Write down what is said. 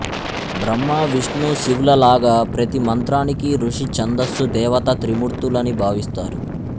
బ్రహ్మవిష్ణుశివులలాగా ప్రతి మంత్రానికీ ఋషి ఛందస్సు దేవత త్రిమూర్తులని భావిస్తారు